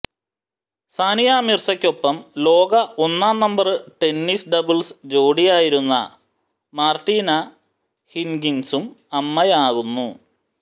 സാനിയ മിര്സക്കൊപ്പം ലോക ഒന്നാം നമ്പര് ടെന്നിസ് ഡബ്ള്സ് ജോഡിയായിരുന്ന മാര്ടിന ഹിന്ഗിസും അമ്മയാവുന്നു